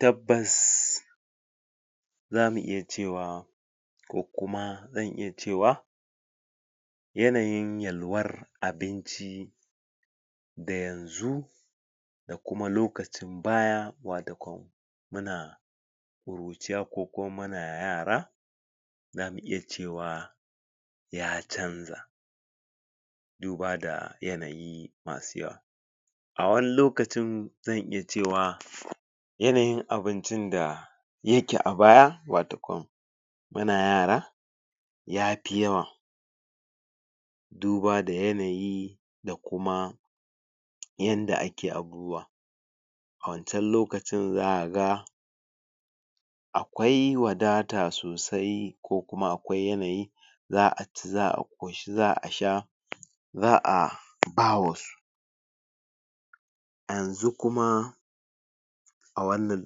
Tabbas! Za mu iya cewa ko kuma zan iya cewa yanayin yalwar abinci da yanzu da kuma loakacin baya, watakwan muna ƙuruciya ko kuma muna yara za mu iya cewa ya canza duba da yanayi masu yawa. A wani lokacin zan iya cewa yanayin abincin da yake a baya, watakwan, muna yara ya fi yawa duba da yanayi da kuma yanda ake abubuwa. A wancan lokacin za ka ga akwai wadata sosai ko kuma akwai yanayi: za a ci, za a ƙoshi, za a sha, za a ba wasu. Yanzu kuma a wannan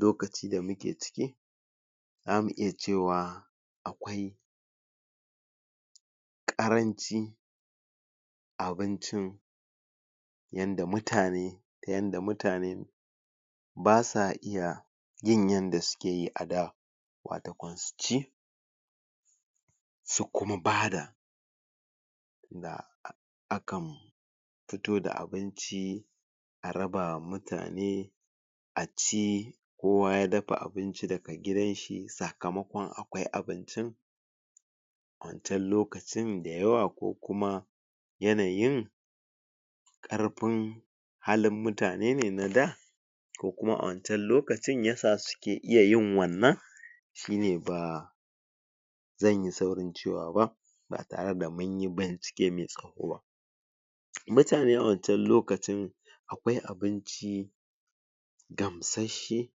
lokaci da muke ciki, za mu iya cewa akwai ƙaranci abincin inda mutane, ta yanda mutane ba sa iya yin yanda suke yi a da, watakwan su ci, su kuma bada um akan fito da abinci a raba wa mutane, a ci kowa ya dafa abinci daga gidan shi, sakamakon akwai abincin, a wancan lokacin da yawa ko kuma yanayin Ƙarfin halin mutane ne na da ko kuma a wancan lokacin ya sa suke iya yin wannan, shi ne ba... ba zan yi saurin cewa ba, ba tare da mun yi bincike mai tsawo ba. Mutane a wancan lokacin akwai abinci gamsasshe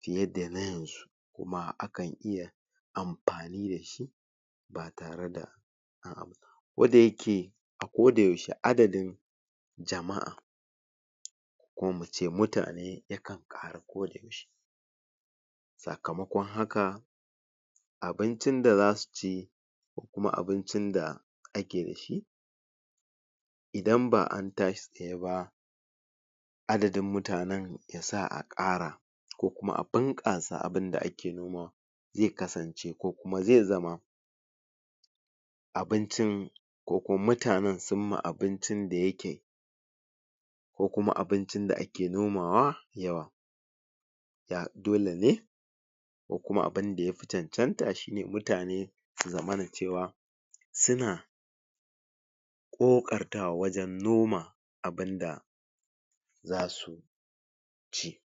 fiye da na yanzu kuma akan iya amfani da shi ba tare da Duk da yake a kodayaushe adadin jama'a ko mu ce mutane yakan ƙaru kodayaushe sakamakon haka, abincin da za su ci ko kuma abincin da ake da shi idan ba an tashi tsaye ba, adadin mutanen ya sa a ƙara ko kuma a bunƙasa abun da ake nomawa ya kasance ko kuma zai zama abincin ko kuma mutanen sun ma abincin da yake ko kuma abincin da ake nomawa yawa dole ne kuma abin da ya fi cancanta shi mutane su zamana cewa suna ƙoƙartawa wajen noma abin da za su ci.